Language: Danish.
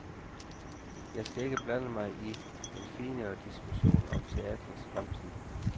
Jeg skal ikke blande mig i en finere diskussion om teatrets fremtid.